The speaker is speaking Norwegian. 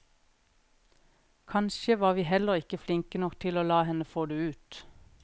Kanskje var vi heller ikke flinke nok til å la henne få det ut.